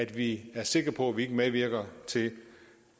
vi er sikre på at vi ikke medvirker til